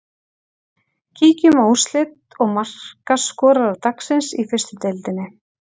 Kíkjum á úrslit og markaskorara dagsins í fyrstu deildinni.